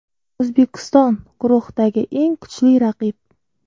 O‘zbekiston guruhdagi eng kuchli raqib.